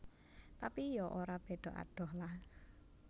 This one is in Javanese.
Tapi ya ora beda adoh lah